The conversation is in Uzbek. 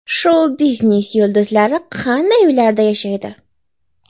Shou-biznes yulduzlari qanday uylarda yashaydi?